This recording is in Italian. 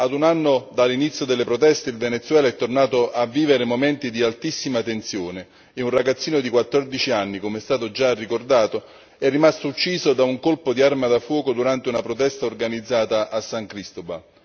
A un anno dall'inizio delle proteste, il Venezuela è tornato a vivere momenti di altissima tensione e un ragazzino di 14 anni, come è stato già ricordato, è rimasto ucciso da un colpo di arma da fuoco durante una protesta organizzata a San Cristóbal.